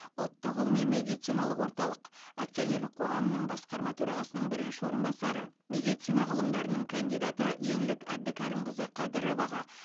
ұлттық ғылыми медициналық орталық акционерлік қоғамының басқарма төрағасының бірінші орынбасары медицина ғылымдарының кандидаты еңлік әбдікәрімқызы қадыроваға